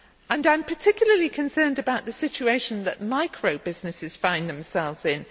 I am particularly concerned about the situation that micro businesses find themselves in.